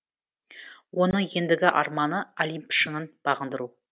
оның ендігі арманы олимп шыңын бағындыру